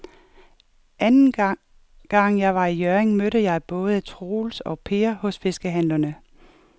Anden gang jeg var i Hjørring, mødte jeg både Troels og Per hos fiskehandlerne.